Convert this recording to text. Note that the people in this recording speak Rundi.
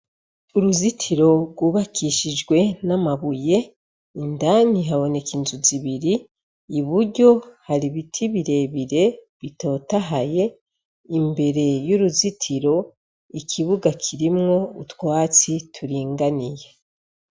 Uruzitiro rwubakishijwe n'amabuye, indani haboneka inzu zibiri, iburyo hari ibiti birebire bitatohaye, imbere y'uruzitiro ikibuga kirimwo utwatsi turinganiye.